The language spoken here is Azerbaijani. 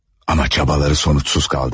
Ama çabaları sonuçsuz kaldı.